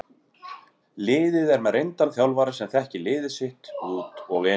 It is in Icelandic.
Liðið er með reyndan þjálfara sem þekkir liðið sitt út og inn.